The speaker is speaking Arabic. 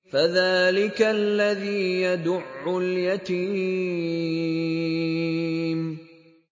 فَذَٰلِكَ الَّذِي يَدُعُّ الْيَتِيمَ